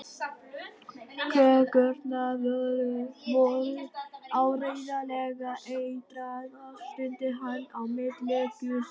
Kökurnar voru áreiðanlega eitraðar stundi hann á milli gusanna.